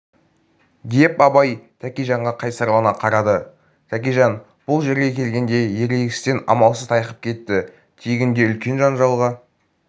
деп абай тәкежанға қайсарлана қарады тәкежан бұл жерге келгенде ерегістен амалсыз тайқып кетті тегінде үлкен жанжалға